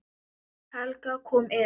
Helga kom inn.